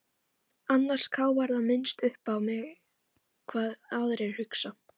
Annars káfar það minnst uppá mig hvað aðrir hugsa.